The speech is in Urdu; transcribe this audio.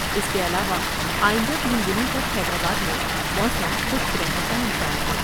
اس کے علاوہ آئندہ تین دنوں تک حیدرآباد میں موسم خشک رہنے کا امکان ہے ۔